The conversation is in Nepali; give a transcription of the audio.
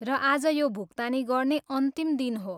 र आज यो भुक्तानी गर्ने अन्तिम दिन हो।